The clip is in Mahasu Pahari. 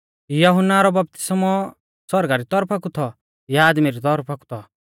यहुन्ना रौ बपतिस्मौ सौरगा री तौरफा कु थौ या आदमी री तौरफा कु थौ